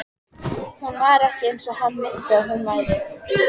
Hún var ekki eins og hann minnti að hún væri.